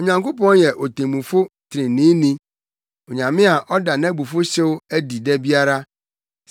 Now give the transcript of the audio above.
Onyankopɔn yɛ otemmufo treneeni, Onyame a ɔda nʼabufuwhyew adi da biara.